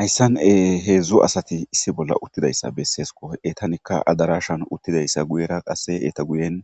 hayssan e heedzdzu asati issi bolla uttidayssa besseesko etanikka adarashan uttidayssa guyera qasse eeta guyen